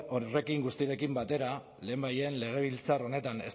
horrekin guztiarekin batera lehenbailehen legebiltzar honetan